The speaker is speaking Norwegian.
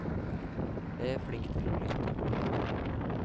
Jeg er flink til å lytte.